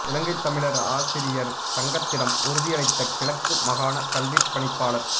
இலங்கைத் தமிழர் ஆசிரியர் சங்கத்திடம் உறுதியளித்த கிழக்கு மாகாண கல்விப் பணிப்பாளர்